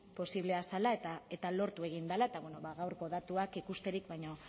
posiblea zela eta lortu egin dela eta bueno ba gaurko datuak ikusterik baino